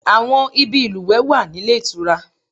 Àwọn ibi ìlùwẹ̀ wà nílé ìtura